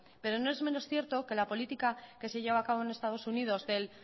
pero no es menos cierto que la política que se lleva a cabo en estados unidos del